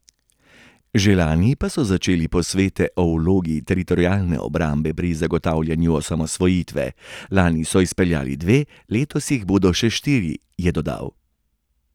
Že lani pa so začeli posvete o vlogi Teritorialne obrambe pri zagotavljanju osamosvojitve, lani so izpeljali dva, letos jih bodo še štiri, je dodal.